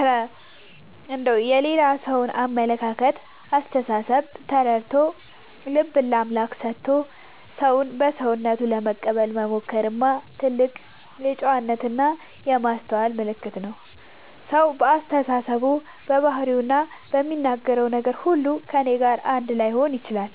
እረ እንደው የሌላ ሰውን አመለካከትና አስተሳሰብ ተረድቶ፣ ልብን ለአምላክ ሰጥቶ ሰውን በሰውነቱ ለመቀበል መሞከርማ የትልቅ ጨዋነትና የማስተዋል ምልክት ነው! ሰው በአስተሳሰቡ፣ በባህሪውና በሚናገረው ነገር ሁሉ ከእኔ ጋር አንድ ላይሆን ይችላል።